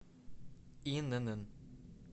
инн